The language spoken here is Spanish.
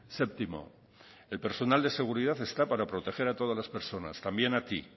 séptimo el personal de seguridad está para proteger a todas las personas también a ti